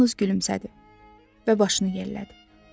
O yalnız gülümsədi və başını yellədi.